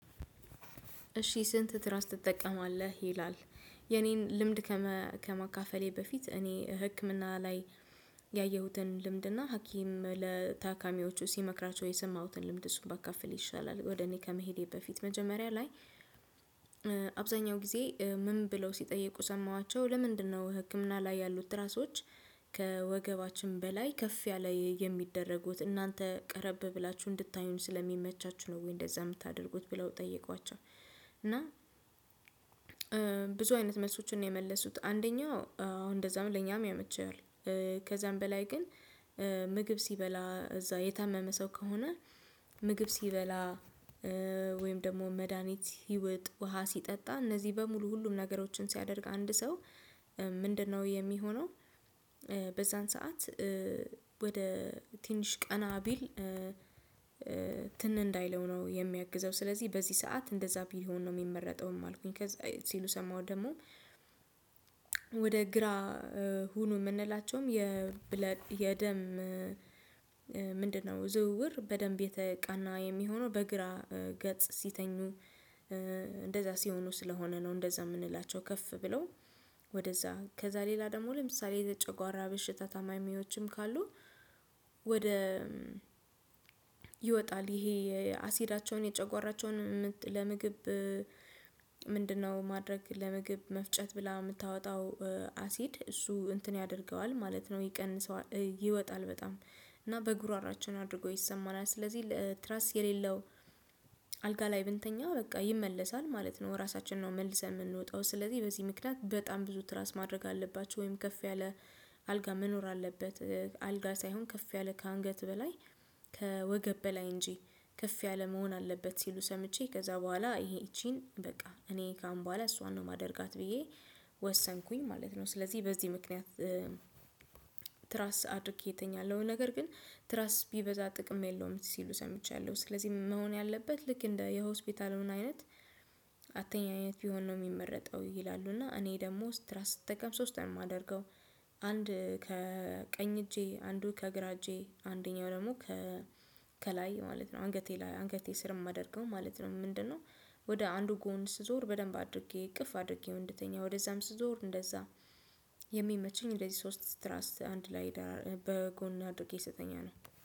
እሺ ስንት ትራስ ትጠቀማለህ ይላል? የኔን ልምድ ከማካፈሌ በፊት እኔ ህክምና ላይ ያየሁትን ልምድና ሀኪም ለታካሚዎቹ ሲመክራቸው የሰማሁትን ልምድ እሱን ባካፍል ይሻላል። ወደ እኔ ከመሄዴ በፊት መጀመሪያ ላይ። አብዛኛው ጊዜ ምን ብለው ሲጠይቁ ሰማኋቸው ለምንድነው ህክምና ላይ ያሉት ትራሶች? ከወገባችን በላይ ከፍ ያለ የሚደረጉት እናንተ ቀረብ ብላችሁ እንድታዩን ስለሚመቻችሁ ነው ወይ እንደዛ የምታደርጉት ብለው ጠየቋቸው? እና ብዙ አይነት መልሶችን ነው የመለሱት አንደኛው አዎ እንደዛም ለኛም ያመቸዋል። ከዛም በላይ ግን። ምግብ ሲበላ እዛ የታመመ ሰው ከሆነ። ምግብ ሲበላ ወይም ደግሞ መድሃኒት ሲውጥ ውሃ ሲጠጣ እነዚህ በሙሉ ሁሉም ነገሮችን ሲያደርግ አንድ ሰው ምንድነው የሚሆነው? በዛን ሰዓት ወደ ትንሽ ቀና ቢል። ትን እንዳይለው ነው የሚያግዘው ስለዚህ በዚህ ሰዓት እንደዛ ቢሆን ነው የሚመረጠውም አልኩኝ። ሲሉ ሰማሁ ደግሞ። ወደ ግራ ሁኑ የምንላቸውም የብለድ የደም ምንድነው ዝውውር በደንብ የተቃና የሚሆነው በግራ ገጽ ሲተኙ። እንደዛ ሲሆኑ ስለሆነ ነው እንደዛ የምንላቸው ከፍ ብለው። ወደዛ ከዛ ሌላ ደግሞ ለምሳሌ የጨጓራ በሽታ ታማኝ ሙያዎችም ካሉ። ወደ ይወጣል ይሄ የአሲዳቸውን የጨጓራቸውን ለምግብ ምንድነው? ማድረግ ለምግብ መፍጨት ብላ የምታወጣው አሲድ እሱ እንትን ያደርገዋል ማለት ነው። ይቀንሰው ይወጣል በጣም እና በጉሮሯችን አድርጎ ይሰማናል። ስለዚህ ትራስ የሌለው አልጋ ላይ ብንተኛ በቃ ይመለሳል ማለት ነው። ራሳችንነው መልሰን የምንወጣው ስለዚህ በዚህ ምክንያት በጣም ብዙ ትራስ ማድረግ አለባቸው ወይም ከፍ ያለ አልጋ መኖር አለበት። አልጋ ሳይሆን ከፍ ያለ ከአንገት በላይ ከወገብ በላይ እንጂ ከፍ ያለ መሆን አለበት። ሲሉ ሰምቼ ከዛ በኋላ ይሄ ይቺን በቃ እኔ ከአሁን በኋላ እሷን ነው የማደርጋት ብዬ ወሰንኩኝ ማለት ነው። ስለዚህ በዚህ ምክንያት። ትራስ አድርጌ እተኛለው ነገር ግን ትራስ ቢበዛ ጥቅም የለውም ሲሉ ሰምቻለሁ። ስለዚህ መሆን ያለበት ልክ እንደ የሆስፒታሉን አይነት አትኛነት አይነት ቢሆን ነው የሚመረጠው ይላሉ። እና እኔ ደግሞ ስትራስ ስትጠቀም ሶስት ነው የማደርገው። አንድ ከቀኝ እጄ አንዱ ከግራ እጄ አንደኛው ደግሞ ከላይ ማለት ነው አንገቴ ላይ አንገቴ ስር የማደርገው ማለት ነው። ምንድነው? ወደ አንዱ ጎን ስዞር በደንብ አድርጌ እቅፍ አድርጌው እንድተኛ ወደዛም ስዞር እንደዛ የሚመችኝ እንደዚህ ሶስት ትራስ አንድ ላይ በጎን አድርጌ ስተኛ ነው።